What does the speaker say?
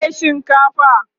nawa ne shinkafan?